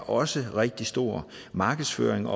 også rigtig stor markedsføring